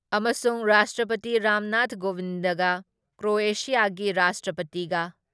ꯑꯃꯁꯨꯡ ꯔꯥꯁꯇ꯭ꯔꯄꯇꯤ ꯔꯥꯝꯅꯥꯊ ꯀꯣꯕꯤꯟꯗꯒ ꯀ꯭ꯔꯣꯑꯦꯁꯤꯌꯥꯒꯤ ꯔꯥꯁꯇ꯭ꯔꯄꯇꯤꯒ